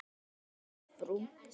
því að Ásbrú